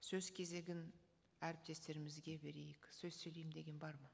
сөз кезегін әріптестерімізге берейік сөз сөйлеймін деген бар ма